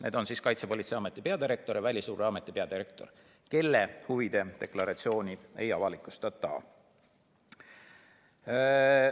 Need on Kaitsepolitseiameti peadirektor ja Välisluureameti peadirektor, nende huvide deklaratsiooni ei avalikustata.